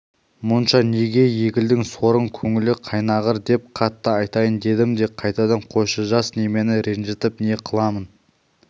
мұнша неге егілдің сорың көңілі қайнағыр деп қатты айтайын дедім де қайтадан қойшы жас немені ренжітіп не қыламын